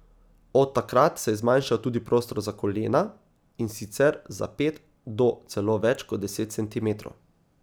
Od takrat se je zmanjšal tudi prostor za kolena, in sicer za pet do celo več kot deset centimetrov.